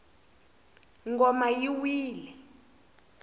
ngoma yi wile